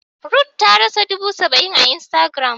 Ruth tarasa dubu saba-in a instagram.